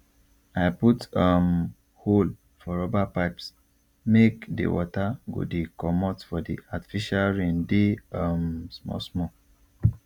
i put um hole for rubber pipesmake the water go dey commot for the artificial raindey um small small